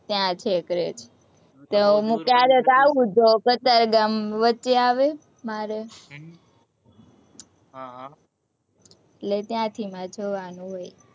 ત્યાં છેક રહે છે, તો હું ક્યારેક એવું તો જો કતારગામ વચ્ચે આવે મારે, એટલે ત્યાંથી મારે જવાનું હોય.